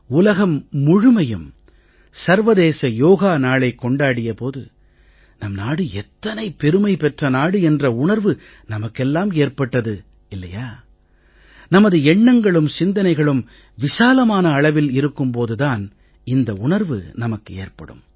உலகம் முழுமையும் சர்வதேச யோக நாளைக் கொண்டாடிய போது நம் நாடு எத்தனை பெருமை பெற்ற நாடு என்ற உணர்வு நமக்கெல்லாம் ஏற்பட்டது இல்லையா நமது எண்ணங்களும் சிந்தனைகளும் விசாலமான அளவில் இருக்கும் போது தான் இந்த உணர்வு நமக்கு ஏற்படும்